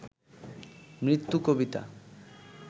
মৃত্যু কবিতা